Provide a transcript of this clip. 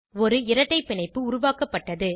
ஒரு இரட்டை பிணைப்பு உருவாக்கப்பட்டது